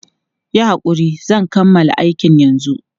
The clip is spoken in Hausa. Yi hakuri, zan kammala aikin yanzu.